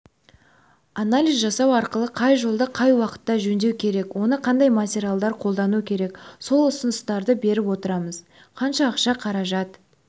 анализ жасау арқылы қай жолды қай уақытта жөндеу керек оны қандай материалдар қолдану керек сол ұсыныстарды беріп отырамыз қанша ақша қаражат